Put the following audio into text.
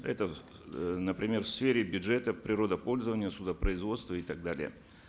это э например в сфере бюджета природопользования судопроизводства и так далее